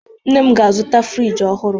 Nne m ga-azụta friji ọhụrụ.